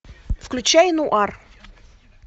включай нуар